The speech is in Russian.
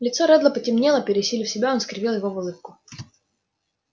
лицо реддла потемнело пересилив себя он скривил его в улыбку